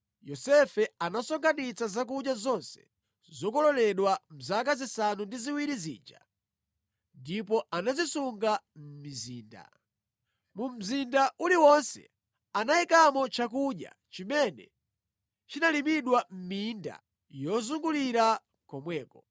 Yosefe anasonkhanitsa zakudya zonse zokololedwa mʼzaka zisanu ndi ziwiri zija ndipo anazisunga mʼmizinda. Mu mzinda uliwonse anayikamo chakudya chimene chinalimidwa mʼminda yozungulira komweko.